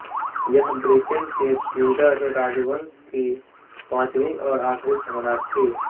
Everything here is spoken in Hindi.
यह ब्रिटेन के ट्युडर राजवंश की पाँचवी और आख़री सम्राट थीं